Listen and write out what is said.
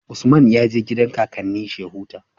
Usman ya je gidan kakannin shi ya huta